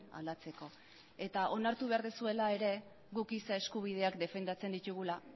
aldatzeko eta onartu behar duzuela ere guk giza eskubideak defendatzen ditugula